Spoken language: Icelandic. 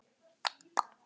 Já, Magga mín.